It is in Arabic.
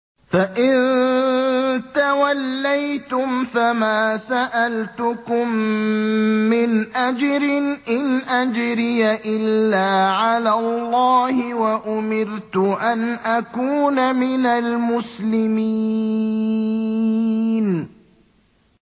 فَإِن تَوَلَّيْتُمْ فَمَا سَأَلْتُكُم مِّنْ أَجْرٍ ۖ إِنْ أَجْرِيَ إِلَّا عَلَى اللَّهِ ۖ وَأُمِرْتُ أَنْ أَكُونَ مِنَ الْمُسْلِمِينَ